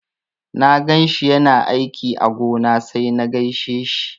Na ganshi yana aiki a gona sai na gaishe shi.